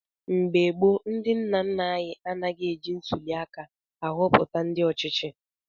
Mgbe gboo, ndị nna nna anyị anaghị eji ntuliaka ahọpụta ndị ọchịchị.